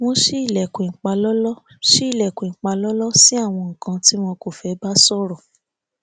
wọn ṣí ilẹkùn ìpalọlọ ṣí ilẹkùn ìpalọlọ sí àwọn nnkan tí wọn kọ fẹ bá sòrò